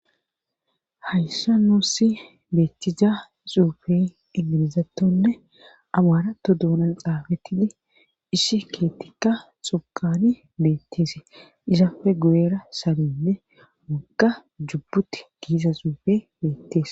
hayssa nuussi beettiza xuufe ingilizattonne amaarato duunan xaafattidi isshi keettikka xokani beetteesi isafe gu7era salinne waga jubbuti giiza xuufe beettees